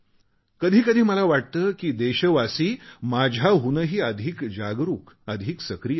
कधी कधी मला वाटते की देशवासी माझ्याहूनही अधिक जागरुक अधिक सक्रीय आहेत